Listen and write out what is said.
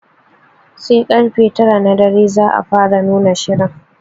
Sar karfe tara na dare za a fara nuna shirin.